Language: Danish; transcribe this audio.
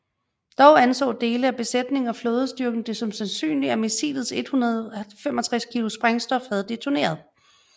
Dog anså dele af besætningen og flådestyrken det som sandsynligt at missilets 165 kg sprængstof havde detoneret